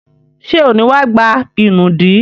Ṣé ò ní wá gba ìnùdí?